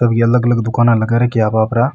सब अलग अलग दुकान लगा रखी है आप आप रा।